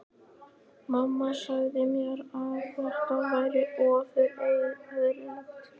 Mamma sagði mér að þetta væri ofur eðlilegt.